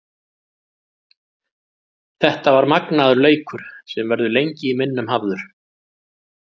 Þetta var magnaður leikur sem verður lengi í minnum hafður.